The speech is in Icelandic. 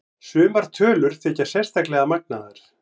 Sumar tölur þykja sérstaklega magnaðar.